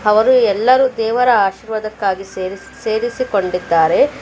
ಅವರು ಎಲ್ಲರೂ ದೇವರ ಆಶೀರ್ವಾದಕ್ಕಾಗಿ ಸೇರಿ ಸೇರಿಸಿಕೊಂಡಿದ್ದಾರೆ.